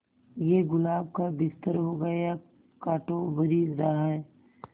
ये गुलाब का बिस्तर होगा या कांटों भरी राह